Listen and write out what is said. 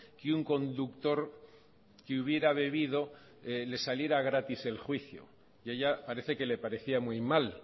que un conductor que hubiera bebido le saliera gratis el juicio y a ella parece que le parecía muy mal